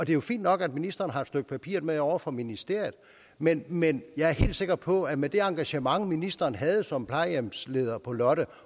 jo fint nok at ministeren har et stykke papir med ovre fra ministeriet men men jeg er helt sikker på at med det engagement ministeren havde som plejehjemsleder på lotte